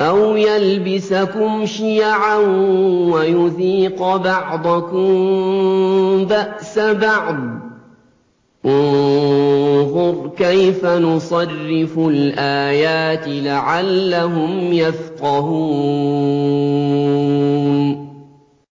أَوْ يَلْبِسَكُمْ شِيَعًا وَيُذِيقَ بَعْضَكُم بَأْسَ بَعْضٍ ۗ انظُرْ كَيْفَ نُصَرِّفُ الْآيَاتِ لَعَلَّهُمْ يَفْقَهُونَ